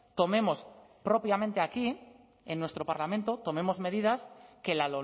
tomemos propiamente aquí en nuestro parlamento tomemos medidas que la